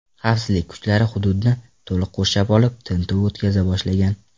Xavfsizlik kuchlari hududni to‘liq qurshab olib, tintuv o‘tkaza boshlagan.